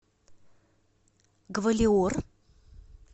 гвалиор